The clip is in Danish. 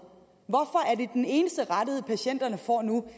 den eneste rettighed patienterne får nu